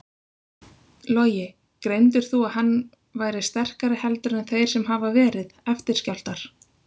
Logi: Greindir þú að hann væri sterkari heldur en þeir sem hafa verið, eftirskjálftar?